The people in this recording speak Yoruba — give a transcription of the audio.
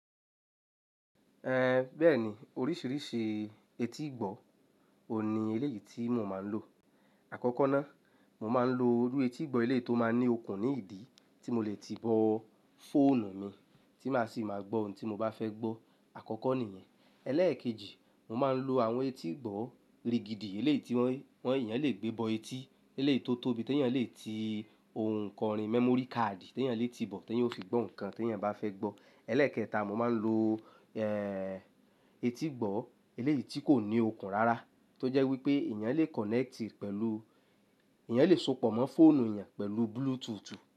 Ehn, bẹ́ẹ̀ni oríṣìíríṣìí etígbọ̀ọ̀ òní eléyìí tí mo máa ń lò. Àkọ́kọ́ ná, mo máa ń lo iru etígbọ̀ọ̀ eléyìí tó máa ń ní okùn ní ìdí tí mo lè ti bọ́ fóònù mi tí má sì máa gbọ́ ohun tí mo bá fẹ́ gbọ́. Àkọ́kọ́ nìyẹn. Ẹlẹ́ẹ̀kejì, mo máa ń lo àwọn etígbọ̀ọ̀ rigidi eléyìí tí wọ́n, wọ́n èèyàn lè gbé bọ etí eléyìí tó tóbi tí èèyàn lè ti ohun kan rí, memory card tí èèyàn lè ti bọ̀ tí èèyàn ó fì gbọ́ ohùn kan tí èèyàn bá fẹ́ gbọ́. Ẹlẹ́ẹ̀kẹta, mo máa ń lo, ehn, etígbọ̀ọ̀ eléyìí tí kò ní okùn rárá tó jẹ́ wípé èèyàn lè connect pẹ̀lú, èèyàn lè sopọ̀ mọ́ fóònù èèyàn pẹ̀lú bluetooth.